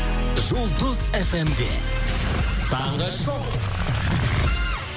жұлдыз эф эм де таңғы шоу